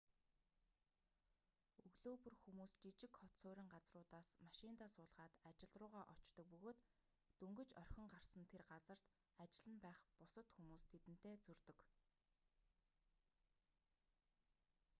өглөө бүр хүмүүс жижиг хот суурин газруудаас машиндаа суулгаад ажил руугаа очдог бөгөөд дөнгөж орхин гарсан тэр газарт ажил нь байх бусад хүмүүс тэдэнтэй зөрдөг